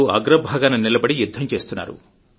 అగ్రభాగాన నిలబడి యుద్ధం చేస్తున్నారు